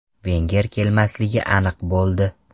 Venger kelmasligi aniq bo‘ldi.